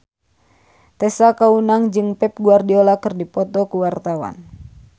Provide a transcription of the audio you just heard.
Tessa Kaunang jeung Pep Guardiola keur dipoto ku wartawan